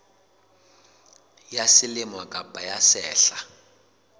ya selemo kapa ya sehla